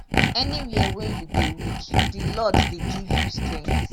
anywia wey you dey weak di lord dey give you strength